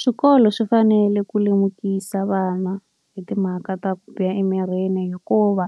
Swikolo swi fanele ku lemukisa vana hi timhaka ta ku biha emirini hikuva,